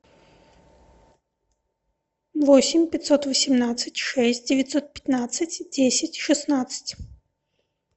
восемь пятьсот восемнадцать шесть девятьсот пятнадцать десять шестнадцать